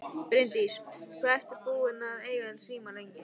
Bryndís: Hvað ert þú búinn að eiga síma lengi?